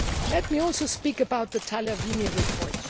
Let me also speak about the Tagliavini report.